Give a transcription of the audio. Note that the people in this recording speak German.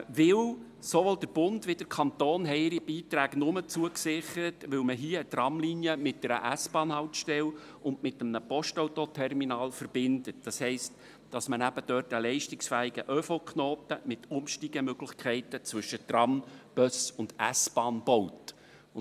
Denn sowohl der Bund als auch der Kanton sicherten ihre Beiträge nur zu, weil in Kleinwabern eine Tramlinie mit einer S-Bahnhaltestelle und mit einem Postautoterminal verbunden werden sollen, das heisst, weil dort ein leistungsfähiger ÖV-Knoten mit Umsteigemöglichkeiten zwischen Tram, Bus und S-Bahn gebaut wird.